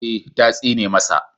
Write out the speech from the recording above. Ee, ta tsine masa